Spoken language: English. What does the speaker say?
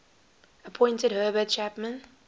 appointed herbert chapman